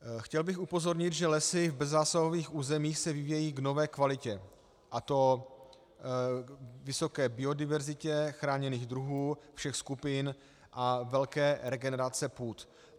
Chtěl bych upozornit, že lesy v bezzásahových územích se vyvíjejí v nové kvalitě, a to vysoké biodiverzitě chráněných druhů všech skupin a velké regenerace půd.